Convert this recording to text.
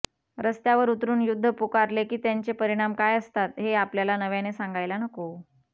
रस्त्यावर उतरून युध्द पुकारले की त्याचे परिणाम काय असतात हे आपल्याला नव्याने सांगायला नको